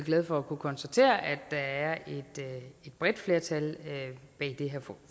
glad for at kunne konstatere at der er et bredt flertal bag det her